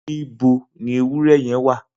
Nibó ni éwùrè yèn wà?